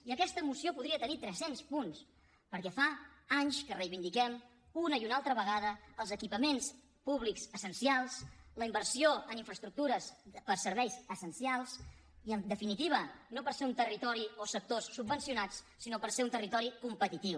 i aquesta moció podria tenir tres cents punts perquè fa anys que reivindiquem una i una altra vegada els equipaments públics essencials la inversió en infraestructures per a serveis essencials i en definitiva no per ser un territori o sectors subvencionats sinó per ser un territori competitiu